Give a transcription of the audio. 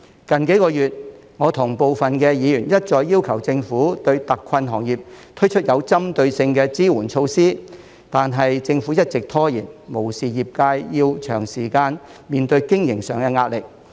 近數個月，我跟部分議員一再要求政府對特困行業推出有針對性的支援措施，但政府一直拖延，無視業界長時間面對經營上的壓力。